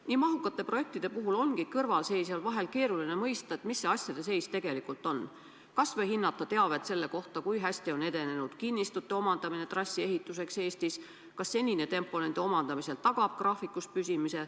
Nii mahukate projektide puhul ongi kõrvalseisjal vahel keeruline mõista, milline asjade seis tegelikult on, kas või hinnata teavet selle kohta, kui hästi on edenenud kinnistute omandamine trassi ehituseks Eestis, kas senine tempo nende omandamisel tagab graafikus püsimise.